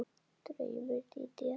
Draumur Dídíar